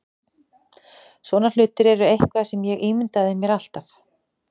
Svona hlutir eru eitthvað sem ég ímyndaði mér alltaf.